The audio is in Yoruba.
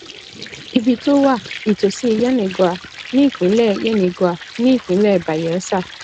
ibi tó wà ìtòsí yenagoa ní ìpínlẹ yenagoa ní ìpínlẹ bayelsa